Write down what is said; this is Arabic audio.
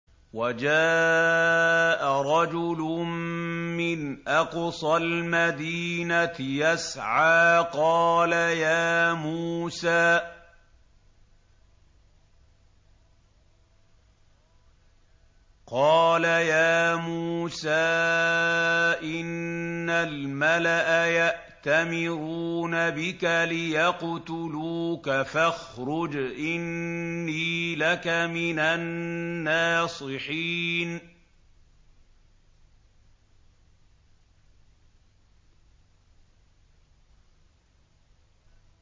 وَجَاءَ رَجُلٌ مِّنْ أَقْصَى الْمَدِينَةِ يَسْعَىٰ قَالَ يَا مُوسَىٰ إِنَّ الْمَلَأَ يَأْتَمِرُونَ بِكَ لِيَقْتُلُوكَ فَاخْرُجْ إِنِّي لَكَ مِنَ النَّاصِحِينَ